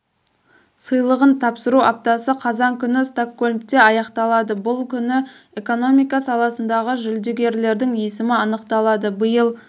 сыйлығын тапсыру аптасы қазан күні стокгольмде аяқталады бұл күні экономика саласындағы жүлдегердің есімі анықталады биыл